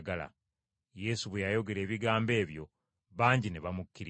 Yesu bwe yayogera ebigambo ebyo bangi ne bamukkiriza.